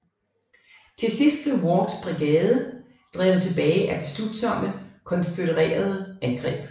Til sidst blev Wards brigade drevet tilbage af beslutsomme konfødererede angreb